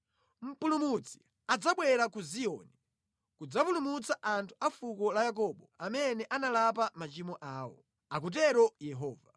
“Mpulumutsi adzabwera ku Ziyoni kudzapulumutsa anthu a fuko la Yakobo amene analapa machimo awo,” akutero Yehova.